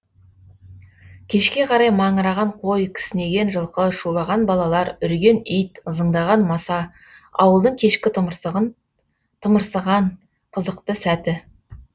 кешке қарай маңыраған қой кісінеген жылқы шулаған балалар үрген ит ызыңдаған маса ауылдың кешкі тымырсыған қызықты сәті